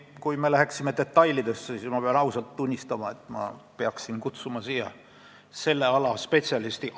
Kui me tahaksime detailidesse minna, siis ma pean ausalt tunnistama, et ma peaksin siia selle ala spetsialisti kutsuma.